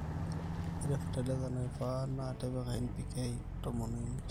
ore fertiliser naifaa na tipika NPK tomon o imiet